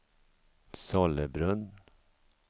Sollebrunn